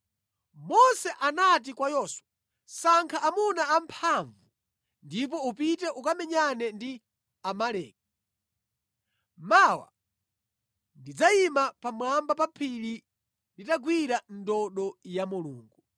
Mose anati kwa Yoswa, “Sankha amuna amphamvu ndipo upite ukamenyane ndi Amaleki. Mawa ndidzayima pamwamba pa phiri nditagwira ndodo ya Mulungu.”